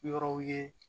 Yɔrɔw ye